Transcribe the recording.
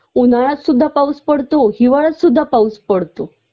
उन्हाळ्यात सुद्धा पाऊस पडतो हिवाळ्यात सुद्धा पाऊस पडतो